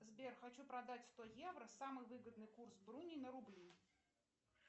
сбер хочу продать сто евро самый выгодный курс бруни на рубли